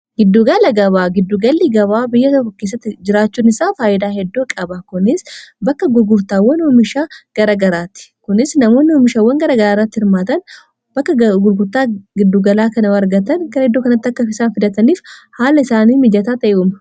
giddugala gabaa giddugalli gabaa biyya tookissatti jiraachuun isaa faayyidaa heddoo qaba kuni bakka gurgurtaawwa hoomishaa garagaraati kunis namooni homishawwan gara gara irratti hirmaatan bakka gurgurtaa giddugalaa kan wargatan gara heddoo kanatti akkaf isaan fidataniif haala isaanii mijataa ta'euma